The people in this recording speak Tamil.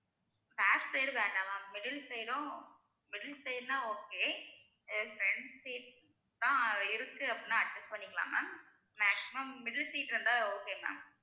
back side வேண்டாம் ma'am middle side ம் middle side ன்னா okay front seat தா இருக்கு அப்படின்னா adjust பண்ணிக்கலாம் ma'am maximum middle seat இருந்தா okay ma'am